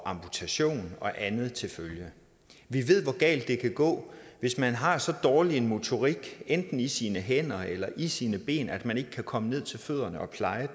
amputation og andet til følge vi ved hvor galt det kan gå hvis man har så dårlig en motorik enten i sine hænder eller i sine ben at man ikke kan komme ned til fødderne og pleje